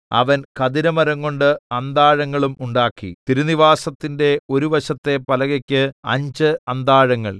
അവൻ ഖദിരമരംകൊണ്ട് അന്താഴങ്ങളും ഉണ്ടാക്കി തിരുനിവാസത്തിന്റെ ഒരു വശത്തെ പലകയ്ക്ക് അഞ്ച് അന്താഴങ്ങൾ